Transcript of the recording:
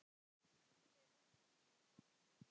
Þau óttast að vera hafnað.